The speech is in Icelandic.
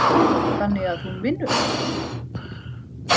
Þannig að hún vinnur?